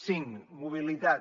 cinc mobilitat